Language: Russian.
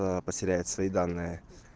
потеряет свои данные